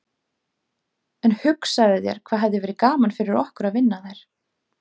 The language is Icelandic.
En hugsaðu þér hvað hefði verið gaman fyrir okkur að vinna þær.